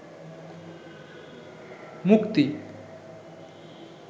মুক্তি